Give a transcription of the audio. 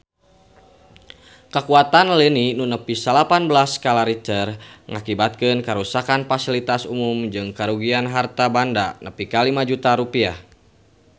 Kakuatan lini nu nepi salapan belas skala Richter ngakibatkeun karuksakan pasilitas umum jeung karugian harta banda nepi ka 5 juta rupiah